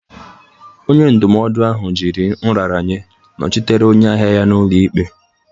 Onye ndụmọdụ ahụ jiri nraranye nọchitere onye ahịa ya n'ụlọ ikpe.